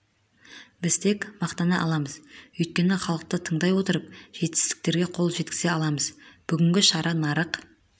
біз тек мақтана аламыз өйткені халықты тыңдай отырып жетістіктерге қол жеткізе аламыз бүгінгі шара нарық